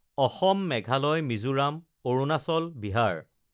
Assam, Meghalaya, Mizoram, Arunachal, Bihar